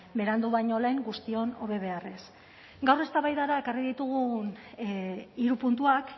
berandu baino lehen guztion hobe beharrez gaur eztabaidara ekarri ditugun hiru puntuak